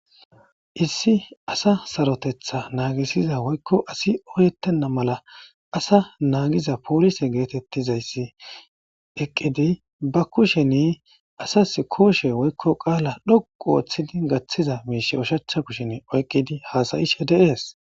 issi asa sarotetha naagisiza woykko asi oyettenna mala asa naagiza poolise geetettizayssi eqqidi ba kusheni asas kooshe woykko qaala dhoqu ooththidi gaththiza miish ushachcha kushien oyqqidi haasayishe deees